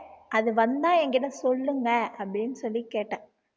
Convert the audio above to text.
அது வந்தா என்கிட்ட சொல்லுங்க அப்டின்னு சொல்லி கேட்டேன்